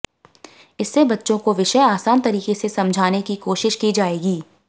इससे बच्चों को विषय आसान तरीके से समझाने की कोशिश की जाएगी